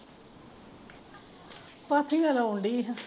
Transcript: ਪਾਥੀਆਂ ਲਾਉਂਦੀ ਹਾਂ